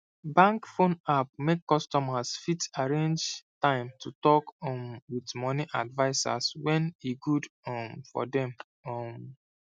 bank phone app make customers fit arrange time to talk um with money advisers when e good um for dem um